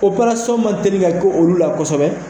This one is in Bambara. Opɛrasɔn man deli ka kɛ olu la kosɛbɛ